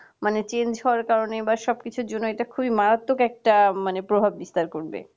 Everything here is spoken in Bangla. মানে change হওয়ার কারণে বা সবকিছুর জন্য এটা খুব মারাত্মক একটা মানে প্রভাব বিস্তার করবে